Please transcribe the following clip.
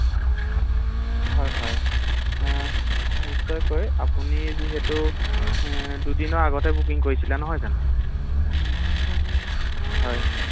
হয় হয় অ নিশ্চয়কৈ আপুনি যিহেতু দুদিনৰ আগতে বুকিং কৰিছিলে নহয় জানো ৷ হয়